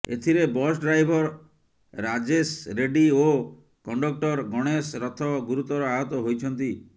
ଏଥିରେ bus driver Rajesh Reddy ଓ conductor Ganesh Rath ଗୁରୁତର ଆହତ ହୋଇଛନ୍ତି